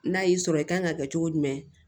N'a y'i sɔrɔ i kan ka kɛ cogo jumɛn